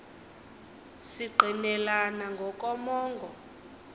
si ngqinelana ngokomongo